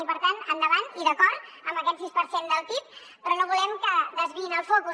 i per tant endavant i d’acord amb aquest sis per cent del pib però no volem que desviïn el focus